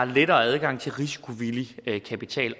lettere adgang til risikovillig kapital